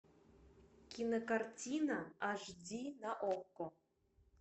кинокартина аш ди на окко